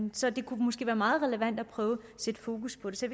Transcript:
så det kunne måske være meget relevant at prøve at sætte fokus på det så